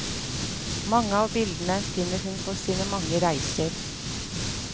Mange av bildene finner hun på sine mange reiser.